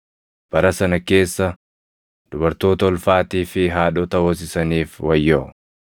Bara sana keessa dubartoota ulfaatii fi haadhota hoosisaniif wayyoo!